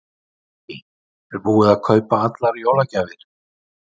Lillý: Er búið að kaupa allar jólagjafir?